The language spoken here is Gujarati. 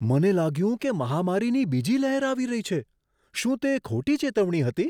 મને લાગ્યું કે મહામારીની બીજી લહેર આવી રહી છે. શું તે ખોટી ચેતવણી હતી?